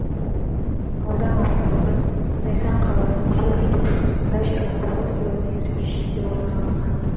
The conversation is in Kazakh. аудан орталығы зайсан қаласының солтүстік шығысында жиырма тоғыз километрдей жерде орналасқан